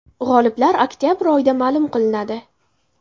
G‘oliblar oktabr oyida ma’lum qilinadi.